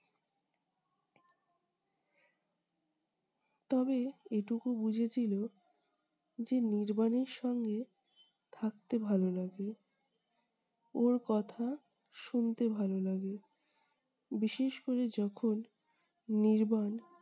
তবে এটুকু বুঝেছিল যে নির্বাণের সঙ্গে থাকতে ভাল লাগে। ওর কথা শুনতে ভালো লাগে। বিশেষ করে যখন নির্বাণ